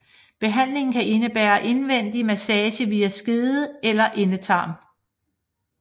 Behandlingen kan indebære indvendig massage via skede eller endetarm